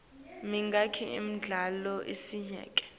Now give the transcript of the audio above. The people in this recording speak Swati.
mingaki imidlalo isiyonke